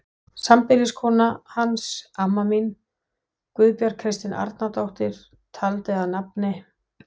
Sambýliskona hans, amma mín, Guðbjörg Kristín Árnadóttir, taldi að nafni